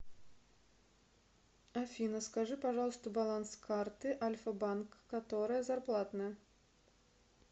афина скажи пожалуйста баланс карты альфа банк которая зарплатная